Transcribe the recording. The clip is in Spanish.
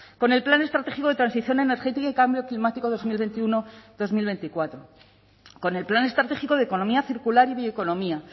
con el plan estratégico de transición energética y cambio climático dos mil veintiuno dos mil veinticuatro con el plan estratégico de economía circular y bioeconomía